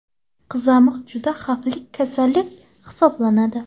Qizamiq juda xavfli kasallik hisoblanadi.